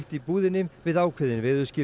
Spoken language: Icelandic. í búðinni við ákveðin